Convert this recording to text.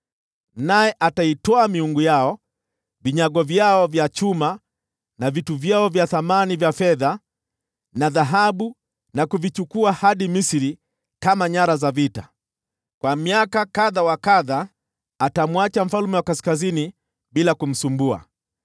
Tena ataitwaa miungu yao, vinyago vyao vya chuma, na vitu vyao vya thamani vya fedha na dhahabu, na kuvichukua hadi Misri. Kwa miaka kadha atamwacha mfalme wa Kaskazini bila kumsumbua.